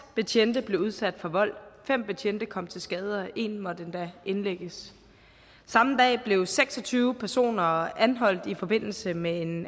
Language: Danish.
betjente blev udsat for vold fem betjente kom til skade og en betjent måtte endda indlægges samme dag blev seks og tyve personer anholdt i forbindelse med en